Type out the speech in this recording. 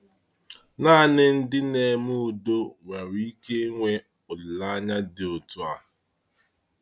Naanị ndị na-eme udo nwere ike ịnwe olileanya dị otu a.